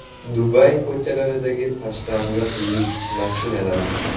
Dubay ko‘chalaridagi tashlandiq lyuks mashinalar .